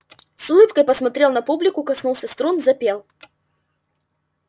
с улыбкой посмотрел на публику коснулся струн запел